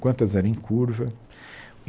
Quantas eram em curva.